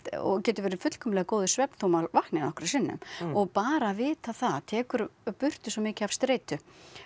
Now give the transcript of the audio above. og getur verið fullkomlega góður svefn þótt maður vakni nokkrum sinnum og bara að vita það tekur burtu svo mikið af streitu